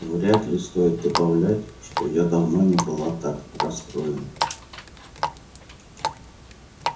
вряд ли стоит добавлять что я давно не была так расстроена